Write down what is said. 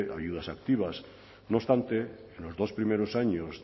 ayudas activas no obstante en los dos primeros años